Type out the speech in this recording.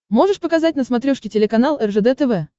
можешь показать на смотрешке телеканал ржд тв